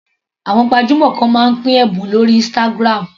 Àwọn gbajúmọ̀ kan máa ń pín ẹ̀bùn lórí Instagram.